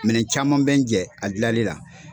Minɛn caman bɛ n jɛ a dilali la.